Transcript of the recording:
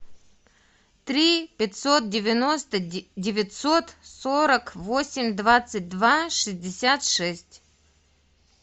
три пятьсот девяносто девятьсот сорок восемь двадцать два шестьдесят шесть